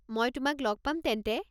মই তোমাক লগ পাম তেন্তে।